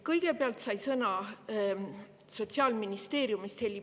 Kõigepealt sai sõna Heli Paluste Sotsiaalministeeriumist.